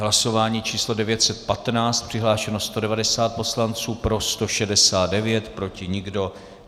Hlasování číslo 915, přihlášeno 190 poslanců, pro 169, proti nikdo.